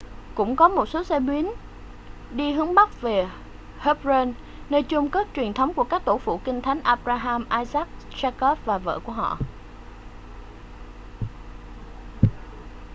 cũng có một số xe buýt đi hướng bắc về hebron nơi chôn cất truyền thống của các tổ phụ kinh thánh abraham isaac jacob và vợ của họ